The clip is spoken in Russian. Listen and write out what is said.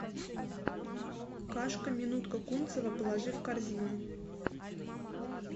кашка минутка кунцево положи в корзину